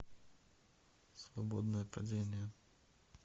свободное падение